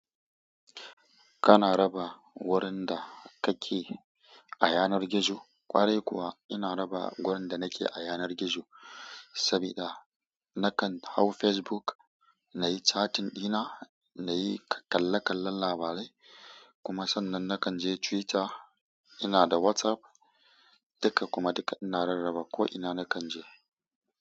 Kana raba wurin da kake a yanar gizo? Ƙwarai kuwa ina raba wurin da nake a yanar gizo sabida nakan hau Facebook, na yi cattin dina, na yi kalle-kallen labarai kuma sannan nakan je Twitter. Ina da WhatsApp dukka kuma duka ina rarraba ko ina nakan je.